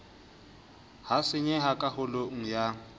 ha senyeha ka holong ya